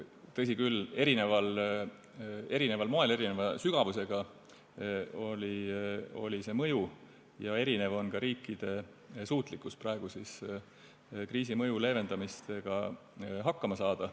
Tõsi küll, eri moel ja see mõju oli erineva sügavusega ja erinev on ka riikide suutlikkus praegu kriisi mõju leevendamisega hakkama saada.